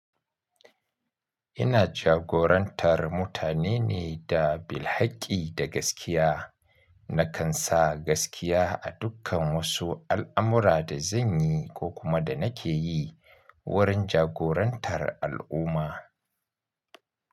Ina jagorantar mutane ne da bil hakki da gaskiya. Nakan sa gaskiya a dukkan wasu al'amura da zan yi ko kuma da nake yi wurin jagorantar al'umma.